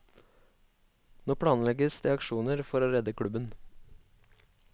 Nå planlegges det aksjoner for å redde klubben.